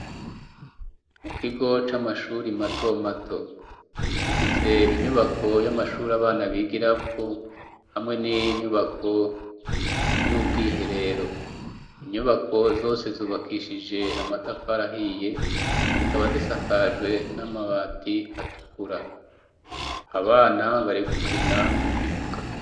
Mukigo c'amashure matomato gifise inyubako y'amashure abana bigiramwo hamwe n'inyubako y'ubwiherero. Inyubako zose zubakishije amatafari ahiye, zikaba zisakajwe n'amabati atukura. Abana bari gukina mu kibuga.